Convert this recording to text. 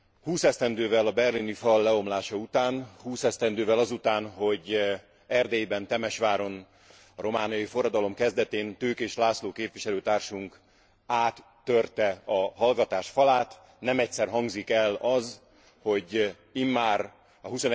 Húsz esztendővel a berlini fal leomlása után, húsz esztendővel azután, hogy Erdélyben, Temesváron, a romániai forradalom kezdetén Tőkés László képviselőtársunk áttörte a hallgatás falát, nem egyszer hangzik el az, hogy immár a